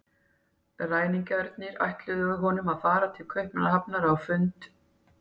Ræningjarnir ætluðu honum að fara til Kaupmannahafnar á fund